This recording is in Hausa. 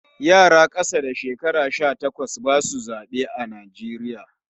Yara ƙasa da shekara sha takwas ba su zaɓe a Najeriya.